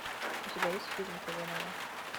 у тебя есть фильм казанова